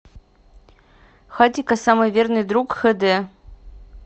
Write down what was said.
хатико самый верный друг хд